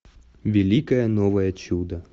великое новое чудо